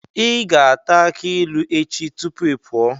Ị ga-ata akị ilu echi tupu ị pụọ.